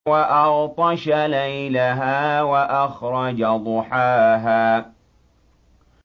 وَأَغْطَشَ لَيْلَهَا وَأَخْرَجَ ضُحَاهَا